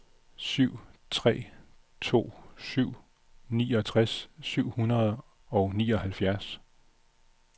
syv tre to syv niogtres syv hundrede og nioghalvfjerds